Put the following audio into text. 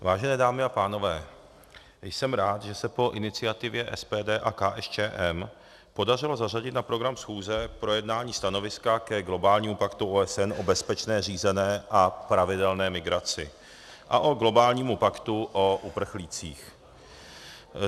Vážené dámy a pánové, jsem rád, že se po iniciativě SPD a KSČM podařilo zařadit na program schůze projednání stanoviska ke globálnímu paktu OSN o bezpečné, řízené a pravidelné migraci a ke globálnímu paktu o uprchlících.